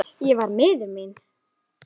Erfitt með að hugsa.